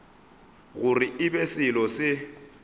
gore e be selo se